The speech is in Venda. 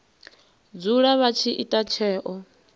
dzula vha tshi ita tsheo